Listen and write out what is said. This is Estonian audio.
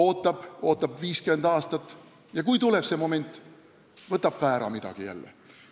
Ta ootab 50 aastat ja kui tuleb õige moment, võtab jälle midagi ära.